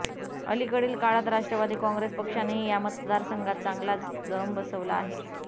अलिकडील काळात राष्ट्रवादी काँग्रेस पक्षानेही या मतदासंघात चांगला जम बसवला आहे